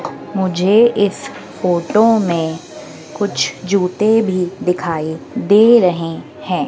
मुझे इस फोटो में कुछ जूते भी दिखाइ दे रहे हैं।